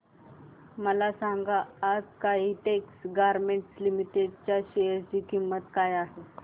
मला सांगा आज काइटेक्स गारमेंट्स लिमिटेड च्या शेअर ची किंमत काय आहे